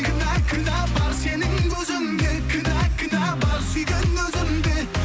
кінә кінә бар сенің көзіңде кінә кінә бар сүйген өзімде